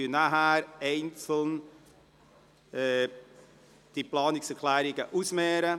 Danach werden wir die Planungserklärungen einzeln ausmehren.